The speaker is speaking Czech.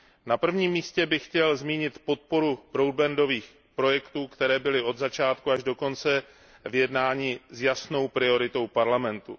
Na prvním místě bych chtěl zmínit podporu broadbandových projektů, které byly od začátku až do konce jednání jasnou prioritou Evropského parlamentu.